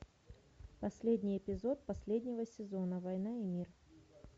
последний эпизод последнего сезона война и мир